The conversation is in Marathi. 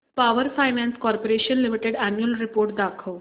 power finance corporation limited annual report दाखव